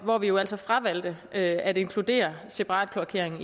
hvor vi jo altså fravalgte at inkludere separat kloakering